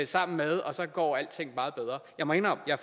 sammen med og så går alting meget bedre jeg må indrømme at